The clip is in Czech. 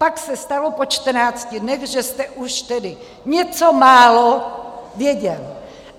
Pak se stalo, po 14 dnech, že jste už tedy něco málo věděl.